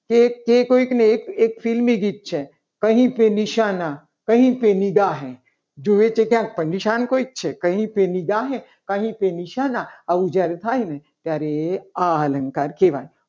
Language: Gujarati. જે કોઈ એનું ફિલ્મી ગીત કહી પે નિશાના કહી પે નિગાહે જોવે છે. કોઈ પરેશાન કોઈ છે કહી પે નિગાહે કહી પે નિશાના આમ જ્યારે થાય ને ત્યારે આ અલંકાર કહેવાય.